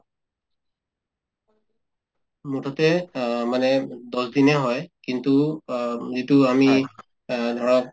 মুঠতে অ মানে দহ দিনে হয় কিন্তু অ উম যিটো আমি এহ্ ধৰক